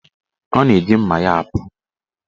Ọ na-eji mma ya apụ.